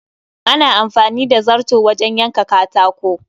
Ana amfani da zarto wajen yanka katako